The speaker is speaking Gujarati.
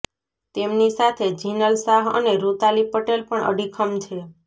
તેમની સાથે જિનલ શાહ અને રૂતાલી પટેલ પણ અડીખમ છે